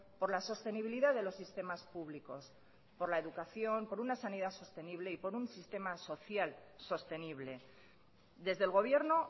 por la sostenibilidad de los sistemas públicos por la educación por una sanidad sostenible y por un sistema social sostenible desde el gobierno